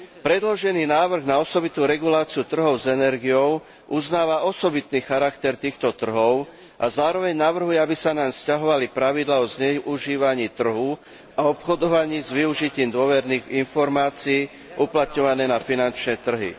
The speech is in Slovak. Predložený návrh na osobitnú reguláciu trhov s energiou uznáva osobitný charakter týchto trhov a zároveň navrhuje, aby sa naň vzťahovali pravidlá o zneužívaní trhu a obchodovaní s využitím dôverných informácií uplatňované na finančné trhy.